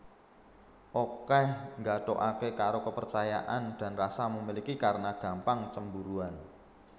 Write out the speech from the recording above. Okeh nggathukake karo kepercayaan dan rasa memiliki karena gampang cemburuan